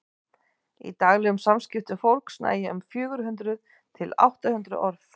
í daglegum samskiptum fólks nægja um fjögur hundruð til átta hundruð orð